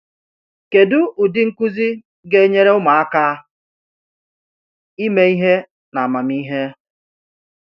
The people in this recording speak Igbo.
Kedụ ụdị nkuzi ga-enyere ụmụaka ime ihe n’amamihe?